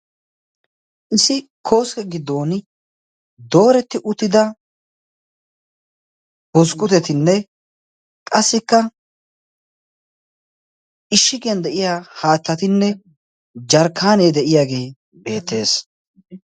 issi kooske giddoni dooretti uttida busqqutetinne qassikka ishshigiyan de7iya haattatinne jarkkaanee de7iyaagee beettees